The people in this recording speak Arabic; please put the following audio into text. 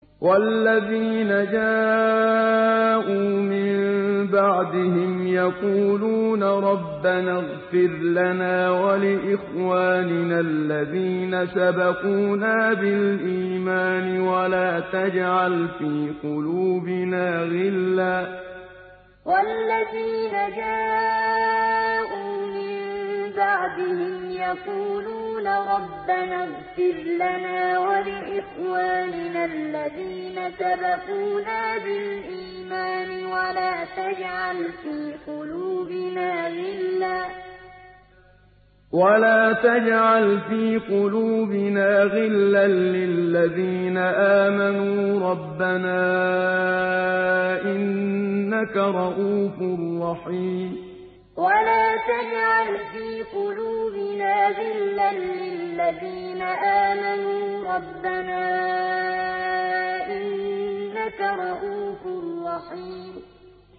وَالَّذِينَ جَاءُوا مِن بَعْدِهِمْ يَقُولُونَ رَبَّنَا اغْفِرْ لَنَا وَلِإِخْوَانِنَا الَّذِينَ سَبَقُونَا بِالْإِيمَانِ وَلَا تَجْعَلْ فِي قُلُوبِنَا غِلًّا لِّلَّذِينَ آمَنُوا رَبَّنَا إِنَّكَ رَءُوفٌ رَّحِيمٌ وَالَّذِينَ جَاءُوا مِن بَعْدِهِمْ يَقُولُونَ رَبَّنَا اغْفِرْ لَنَا وَلِإِخْوَانِنَا الَّذِينَ سَبَقُونَا بِالْإِيمَانِ وَلَا تَجْعَلْ فِي قُلُوبِنَا غِلًّا لِّلَّذِينَ آمَنُوا رَبَّنَا إِنَّكَ رَءُوفٌ رَّحِيمٌ